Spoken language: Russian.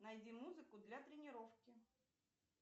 найди музыку для тренировки